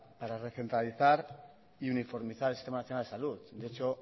para recentralizar y uniformizar el sistema nacional de salud de hecho